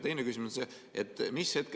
Teine küsimus on see.